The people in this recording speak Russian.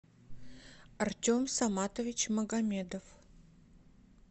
артем саматович магомедов